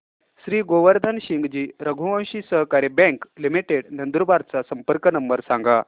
श्री गोवर्धन सिंगजी रघुवंशी सहकारी bank limited Nandurbar चा संपर्क नंबर सांगा